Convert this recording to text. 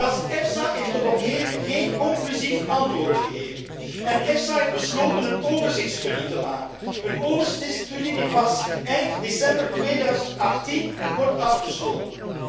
Zelfs EFSA heeft tot op heden geen conclusief antwoord gegeven en EFSA heeft besloten een overzichtsstudie te maken, een overzichtsstudie die pas eind december 2018 wordt afgesloten.